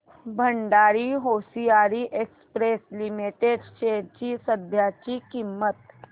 Bhandari hosiery exports limited shares ची सध्याची किंमत